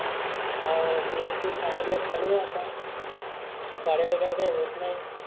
हाव BSC final year चालु आहे आता साड्या वगैरे काही होत नाही.